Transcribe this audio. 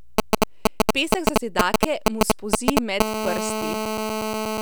Pesek za zidake mu spolzi med prsti.